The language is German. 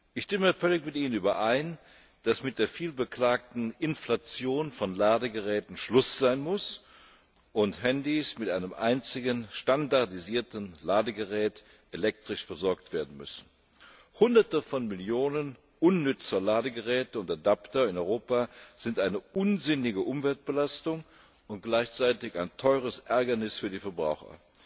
Ich stimme völlig mit ihnen überein, dass mit der viel beklagten Inflation von Ladegeräten Schluss sein muss und Handys mit einem einzigen, standardisierten Ladegerät elektrisch versorgt werden müssen. Hunderte von Millionen unnützer Ladegeräte und Adapter in Europa sind eine unsinnige Umweltbelastung und gleichzeitig ein teures Ärgernis für die Verbraucher.